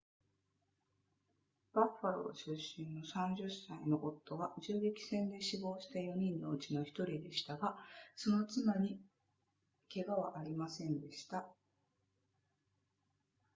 バッファロー出身の30歳の夫は銃撃戦で死亡した4人のうちの1人でしたがその妻に怪我はありませんでした